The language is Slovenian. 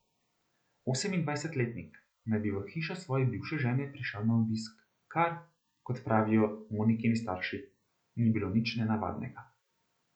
Osemindvajsetletnik naj bi v hišo svoje bivše žene prišel na obisk, kar, kot pravijo Monikini starši, ni bilo nič nenavadnega.